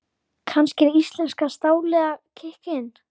Kannski er íslenska stálið að kikka inn?